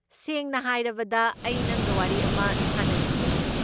ꯁꯦꯡꯅ ꯍꯥꯏꯔꯕꯗ, ꯑꯩ ꯅꯪꯒ ꯋꯥꯔꯤ ꯑꯃ ꯁꯥꯅꯅꯤꯡꯕꯅꯦ꯫